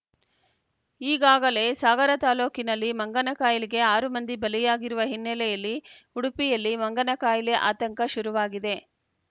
ಈಗಾಗಲೇ ಸಾಗರ ತಾಲೂಕಿನಲ್ಲಿ ಮಂಗನಕಾಯಿಲೆಗೆ ಆರು ಮಂದಿ ಬಲಿಯಾಗಿರುವ ಹಿನ್ನೆಲೆಯಲ್ಲಿ ಉಡುಪಿಯಲ್ಲಿ ಮಂಗನ ಕಾಯಿಲೆ ಆತಂಕ ಶುರುವಾಗಿದೆ